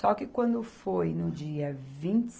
Só que quando foi no dia vinte